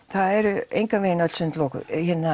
það eru engan vegin öll sund lokuð